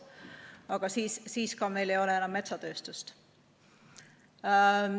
Aga siis meil ei ole ka enam metsatööstust.